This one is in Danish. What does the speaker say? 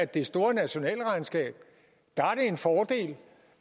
det store nationalregnskab